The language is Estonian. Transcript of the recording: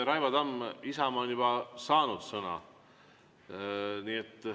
Raivo Tamm, Isamaa on juba saanud sõna.